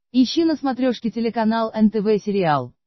ищи на смотрешке телеканал нтв сериал